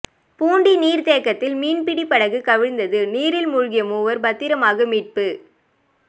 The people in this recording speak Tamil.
பூண்டி நீா்த்தேக்கத்தில் மீன்பிடிப் படகு கவிழ்ந்தது நீரில் மூழ்கிய மூவா் பத்திரமாக மீட்பு